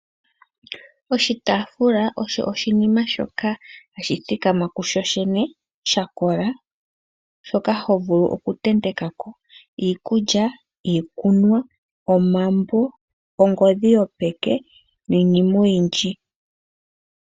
Oshitafula osho oshinima shoka hashi thikama kusho shene oshinene shoka ho vulu oku te ntekako iikulya, iikunwa, omambo, ongodhi yopeke niinima oyindji.